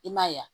I m'a ye wa